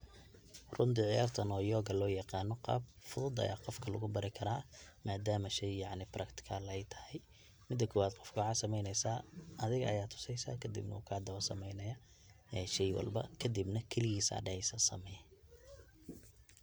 Runti ciyartan oo yoga loyagano, gaab fudud aya gofka lagubarikara madaam shay yanci practical ay taxaay, mida kowad gofka maxa sameyneysaa, adhiga aya tuseysa kadib wu kadaba sameyneya shel walba, kadibna kiligis aya dexeysa samee.